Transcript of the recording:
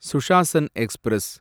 Sushasan express